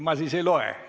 Ma siis ei loe.